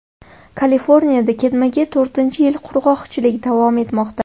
Kaliforniyada ketma-ket to‘rtinchi yil qurg‘oqchilik davom etmoqda.